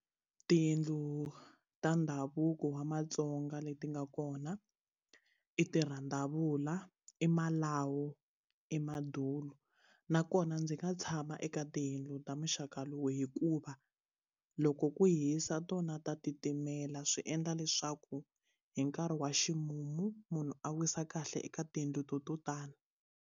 Tiyindlu ta ndhavuko wa matsonga leti nga kona i tirhandavula i malawu i madulu nakona ndzi nga tshama eka tiyindlu ta muxaka lowu hikuva loko ku hisa tona ta titimela swi endla leswaku hi nkarhi wa ximumu munhu a wisa kahle eka tiyindlu to to tani.